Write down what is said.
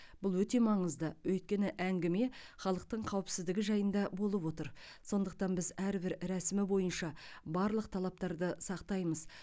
бұл өте маңызды өйткені әңгіме халықтың қауіпсіздігі жайында болып отыр сондықтан біз әрбір рәсімі бойынша барлық талаптарды сақтаймыз